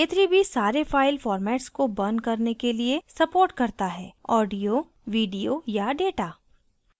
k3b सारे file formats को burn करने के लिए supports करता हैaudio video या data